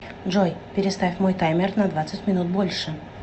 джой переставь мой таймер на двадцать минут больше